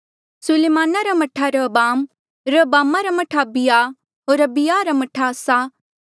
सुलेमाना रा मह्ठा रहबाम रहबामा रा मह्ठा अबिय्याह होर अबिय्याहा रा मह्ठा आसा